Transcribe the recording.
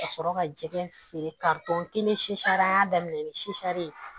Ka sɔrɔ ka jɛgɛ feere kari tɔ k'i ni susara an y'a daminɛ ni sukaro ye